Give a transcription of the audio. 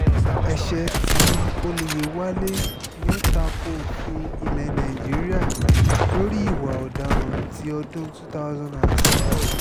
ẹsẹ̀ tí ọ̀yẹ̀wálẹ̀ ní ó ta ko òfin ilẹ̀ nàíjíríà lórí ìwà ọ̀daràn ti ọdún two thousand and six